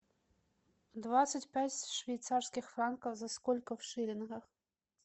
двадцать пять швейцарских франков за сколько в шиллингах